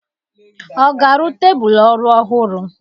Ọ ga-arụ tebụlụ ọrụ ọhụrụ?